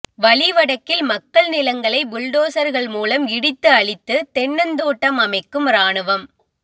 வலி வடக்கில் மக்கள் நிலங்களை புல்டோசர்கள் மூலம் இடித்து அழித்து தென்னந்தோட்டம் அமைக்கும் இராணுவம்